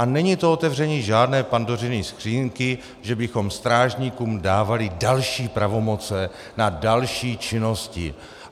A není to otevření žádné Pandořiny skříňky, že bychom strážníkům dávali další pravomoci na další činnosti.